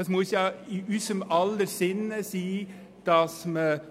Es muss denn im Sinn von uns allen sein,